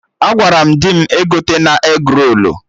Agwara m dị m egotena egrolu